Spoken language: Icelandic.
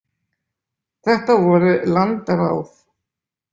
Þetta voru landráð.